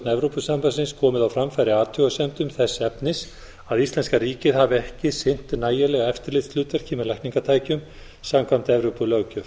evrópusambandsins komið á framfæri athugasemdum þess efnis að íslenska ríkið hafi ekki sinnt nægilega eftirlitshlutverki með lækningatækjum samkvæmt evrópulöggjöf